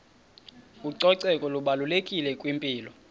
ucoceko lubalulekile kwimpilo